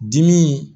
Dimi